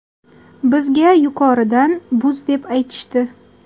Bizga yuqoridan buz deb aytishdi.